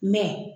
Mɛ